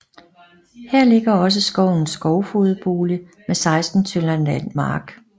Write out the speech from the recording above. Her ligger også skovens skovfogedbolig med 16 tønder land mark